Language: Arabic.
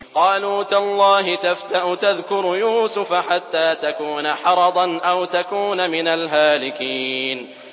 قَالُوا تَاللَّهِ تَفْتَأُ تَذْكُرُ يُوسُفَ حَتَّىٰ تَكُونَ حَرَضًا أَوْ تَكُونَ مِنَ الْهَالِكِينَ